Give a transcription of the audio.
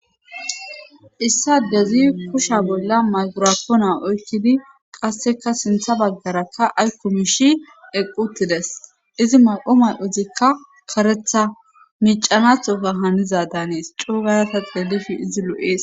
Issa dezi kusha bolla maygorapoona oykkidi qasseka sintha baggarakka ayk kumishi eqquttides izi may7o may7ozikka karetha micanathoka haniza danees cuugayasa xeelifi izi lu7ees.